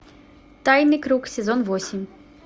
тайный круг сезон восемь